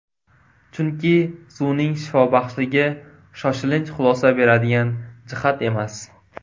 Chunki, suvning shifobaxshligi shoshilinch xulosa beradigan jihat emas.